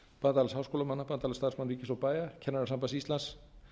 bandalags háskólamanna bandalags starfsmanna ríkis og bæja kennarasambands íslands